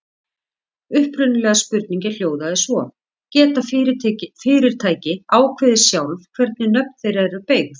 Upprunalega spurningin hljóðaði svo: Geta fyrirtæki ákveðið sjálf hvernig nöfn þeirra eru beygð?